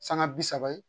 Sanga bi saba ye